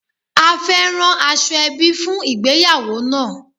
A fé rán aṣọẹbi fún ìgbéyàwó náà.